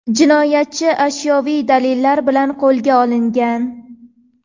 Jinoyatchi ashyoviy dalillar bilan qo‘lga olingan.